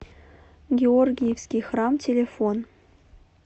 георгиевский храм телефон